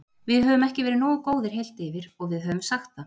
Við höfum ekki verið nógu góðir heilt yfir og við höfum sagt það.